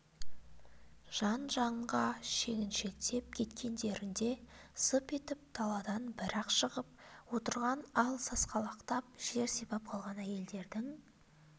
жан-жанға шегіншектеп кеткендерінде зып етіп даладан бір-ақ шығып отырған ал сасқалақтап жер сипап қалған әйелдердің